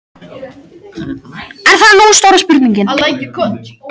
En það er nú stóra spurningin.